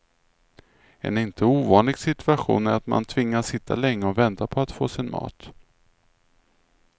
En inte ovanlig situation är att man tvingas sitta länge och vänta på att få sin mat.